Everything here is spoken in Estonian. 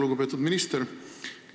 Lugupeetud minister!